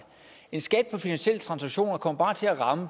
en skat på finansielle transaktioner kommer til at ramme